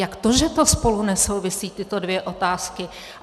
Jak to, že to spolu nesouvisí, tyto dvě otázky?